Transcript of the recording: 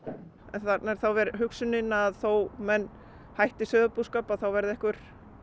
þarna er hugsunin að þó menn hætti sauðfjárbúskap þá verði einhver